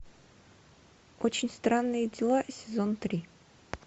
очень странные дела сезон три